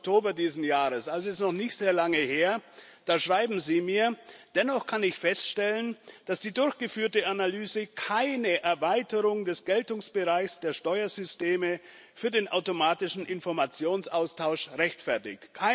5. Oktober dieses Jahres bekommen habe es ist noch nicht sehr lange her schreiben Sie mir Dennoch kann ich feststellen, dass die durchgeführte Analyse keine Erweiterung des Geltungsbereichs der Steuersysteme für den automatischen Informationsaustausch rechtfertigt.